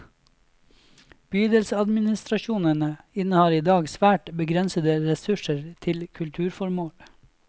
Bydelsadministrasjonene innehar i dag svært begrensede ressurser til kulturformål.